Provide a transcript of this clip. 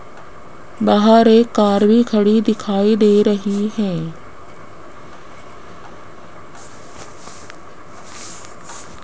बाहर एक कार भी खड़ी दिखाई दे रही है।